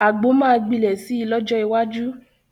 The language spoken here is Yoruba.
Àgbo máa gbilẹ̀ si lọ́jọ́ iwájú